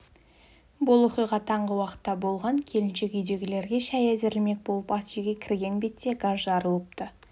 бұл оқиға таңғы уақытта болған келіншек үйдегілерге шәй әзірлемек болып ас үйге кірген бетте газ жарылыпты